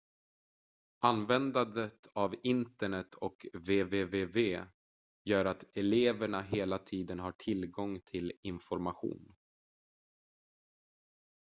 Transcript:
användandet av internet och www gör att eleverna hela tiden har tillgång till information